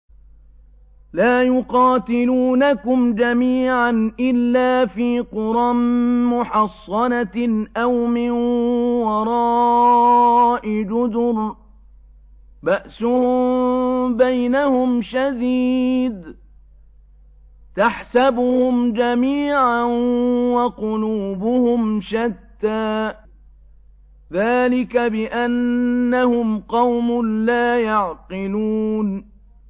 لَا يُقَاتِلُونَكُمْ جَمِيعًا إِلَّا فِي قُرًى مُّحَصَّنَةٍ أَوْ مِن وَرَاءِ جُدُرٍ ۚ بَأْسُهُم بَيْنَهُمْ شَدِيدٌ ۚ تَحْسَبُهُمْ جَمِيعًا وَقُلُوبُهُمْ شَتَّىٰ ۚ ذَٰلِكَ بِأَنَّهُمْ قَوْمٌ لَّا يَعْقِلُونَ